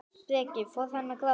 Breki: Fór hann að gráta?